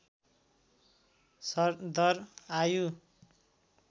सरदर आयु